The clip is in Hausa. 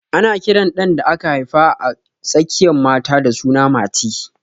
Ana kiran ɗan da aka haifa a tsakiyan mata da suna Mati